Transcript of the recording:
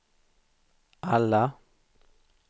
alla